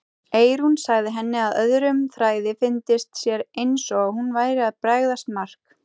Eyrún sagði henni að öðrum þræði fyndist sér eins og hún væri að bregðast Mark.